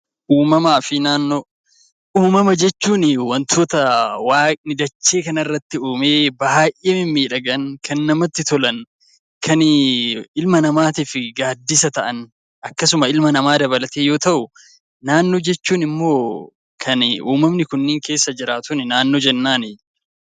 Uumama jechuun wantoota waaqni dachee kanarra jiran kan namatti tolan kan ilma namaatiif gaaddisa ta'an akkasuma ilma namaa dabalatee yoo ta'u, naannoo jechuun immoo kan uumamni kun keessa jiraatan naannoo jennaan.